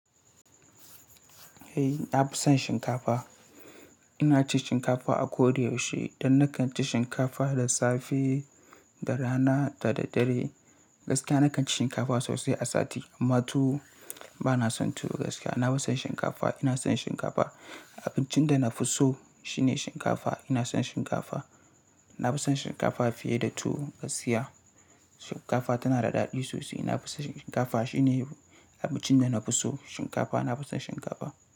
Eh, ta fi son shinkafa. Ina cin shinkafa a ko da yaushe. Don nakan ci shinkafa da safe, da rana da da dare. Gaskiya nakan ci shinkafa sosai a sati amma tuwo bana son tuwo gaskiya. Na fi son shinkafa, ina son shinkafa. Abincin da na fi so shine shinkafa. Ina son shinkafa. Na fi son shinkafa fiye da tuwo gaskiya. Shinkafa tana da daɗi sosai. Na fi son shinkafa. Shi ne abincin da na fi so shinkafa. Na fi son shinkafa.